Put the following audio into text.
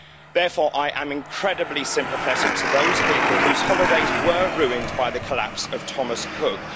Therefore, I am incredibly sympathetic to those people whose holidays were ruined by the collapse of Thomas Cook.